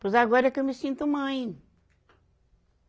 Pois agora é que eu me sinto mãe.